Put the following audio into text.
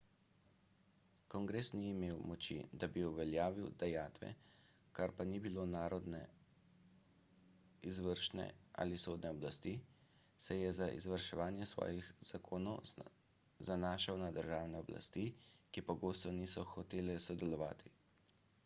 kongres ni imel moči da bi uveljavil dajatve ker pa ni bilo narodne izvršne ali sodne oblasti se je za izvrševanje svojih zakonov zanašal na državne oblasti ki pogosto niso hotele sodelovati